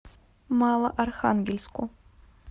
малоархангельску